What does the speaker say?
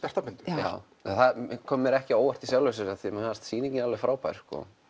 já það kom mér ekki á óvart í sjálfu sér því mér fannst sýningin alveg frábær